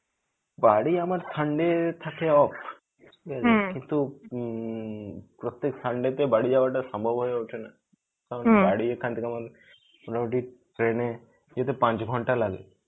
বাড়ি আমার sunday থাকে off কিন্তু উম প্রত্যক sunday তে বাড়ি যাওয়া টা সম্ভব হয়ে ওঠেনা. কারণ বাড়ি এখান থেকে আমার মোটামুটি train এ যেতে পাঁচ ঘন্টা লাগে.